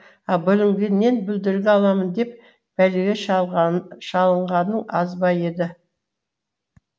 бүлінгеннен бүлдіргі аламын деп бәлеге шалынғаның аз ба еді